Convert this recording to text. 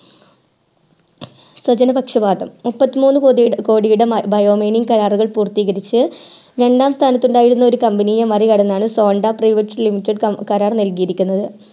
സ്വജനപക്ഷപാദം മുപ്പത്തി കോടി രൂപയുടെ bio mining കരാറുകൾ പൂർത്തീകരിച്ചു രണ്ടാം സ്ഥാനത്തു ഉണ്ടായിരുന്ന company യെ മറികടന്നാണ് sondra private limited കരാർ നൽകിയിരിക്കുന്നത്